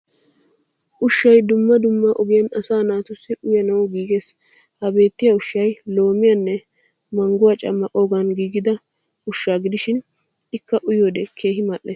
Ushshay dumma dumma ogiyan asaa naatussi uyaanawu giiges. Ha beettiyaa ushshay loomiyaanne mangguwa cammaqoogan giigida ushshay gidishin ikka uyiyoodee keehin mal'es